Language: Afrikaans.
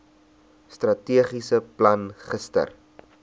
strategiese plan gister